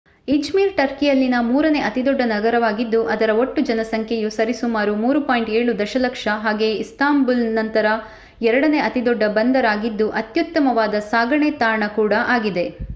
Izmir ಟರ್ಕಿಯಲ್ಲಿನ ಮೂರನೆ ಅತಿದೊಡ್ಡ ನಗರವಾಗಿದ್ದು ಅದರ ಒಟ್ಟು ಜನಸಂಖ್ಯೆಯು ಸರಿಸುಮಾರು 3.7ದಶಲಕ್ಷ ಹಾಗೆಯೇ ಇಸ್ತಾಂಬುಲ್ ನಂತರ ಎರಡನೆ ಅತಿದೊಡ್ಡ ಬಂದರಾಗಿದ್ದು ಅತ್ಯುತ್ತಮವಾದ ಸಾಗಣೆ ತಾಣ ಕೂಡಾ ಆಗಿದೆ